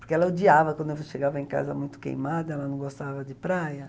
Porque ela odiava quando eu chegava em casa muito queimada, ela não gostava de praia.